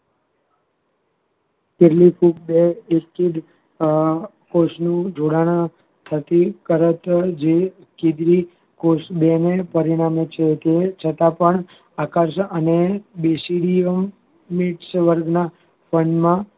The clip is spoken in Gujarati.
કેટલીક ફુગ અ કોષનું જોડાણ થકી બેને પરિણામે છે છતાં પણ